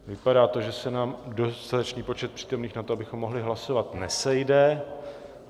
Vypadá to, že se nám dostatečný počet přítomných na to, abychom mohli hlasovat, nesejde.